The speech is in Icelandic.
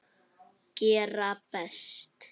Gera best.